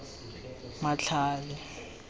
matlhale